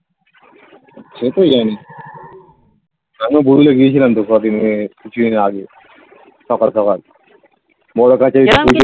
সে তো জানি আমিও বুড়ুলে গেছিলাম তো কদিন কিছুদিন আগে সকাল সকাল বড়ো কাচারী